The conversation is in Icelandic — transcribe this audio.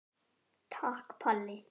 Takk Palli.